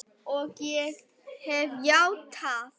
Ég hef játað.